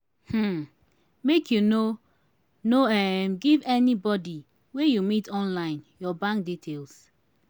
um make you no no um give anybodi wey you meet online your bank details.